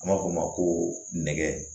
An b'a fɔ o ma ko nɛgɛ